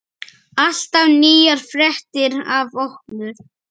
Alltaf nýjar fréttir af okkur.